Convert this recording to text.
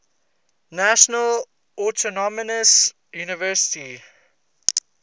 national autonomous university